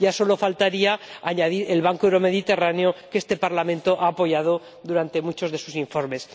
Ya solo faltaría añadir el banco euromediterráneo, que este Parlamento ha apoyado en muchos de sus informes